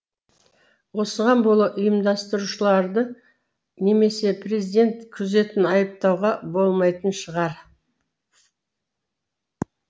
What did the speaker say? осыған бола ұйымдастырушыларды немесе президент күзетін айыптауға болмайтын шығар